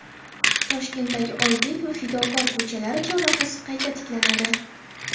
Toshkentdagi Oybek va Fidokor ko‘chalari chorrahasi qayta tiklanadi.